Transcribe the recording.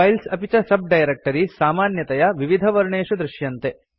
files अपि च sub directories सामान्यतया विविधवर्णेषु दर्श्यन्ते